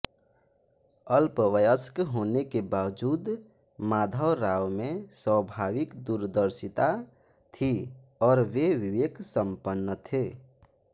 अल्पवयस्क होने के बावजूद माधवराव में स्वाभाविक दूरदर्शिता थी और वे विवेक संपन्न थे